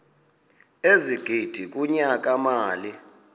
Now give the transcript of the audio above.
ezigidi kunyaka mali